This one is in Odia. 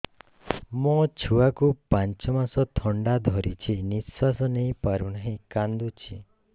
ମୋ ଛୁଆକୁ ପାଞ୍ଚ ମାସ ଥଣ୍ଡା ଧରିଛି ନିଶ୍ୱାସ ନେଇ ପାରୁ ନାହିଁ କାଂଦୁଛି